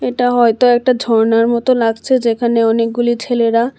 এটা হয়তো একটা ঝর্ণার মতো লাগছে যেখানে অনেকগুলি ছেলেরা--